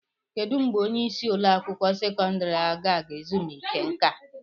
Kedụ mgbe onye isi ụlọ akwụkwọ sekọndrị a ga-ala ezumike nka?